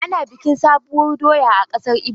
Ana bikin sabuwur doya a kasar ibo.